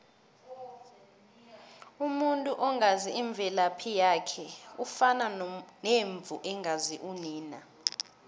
umuntu ongazi imvelaphi yakhe ufana nemvu engazi unina